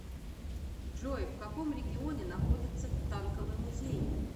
джой в каком регионе находится танковый музей